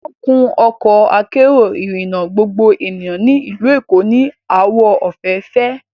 Wọ́n kun Ọkọ akérò ìrìnà gbogbo ènìyàn ní ìlú Èkó ní àwọ̀ òféèfé